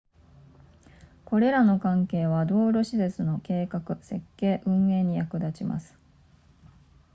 これらの関係は道路施設の計画設計運営に役立ちます